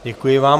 Děkuji vám.